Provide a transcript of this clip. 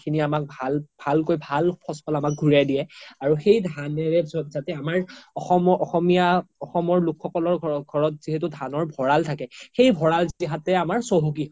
আমাক ভালকই ভাল ফচ ফল আমাক ঘুৰিয়াই দিয়ে আৰু সেই ধানৰে জাতে আমাৰ অসমৰ অসমীয়া অসমৰ লোক সকলৰ ঘৰত যিহেতু ধানৰ ভৰাল থাকে সেই ভৰাল জাতে আমাৰ চহকি হয়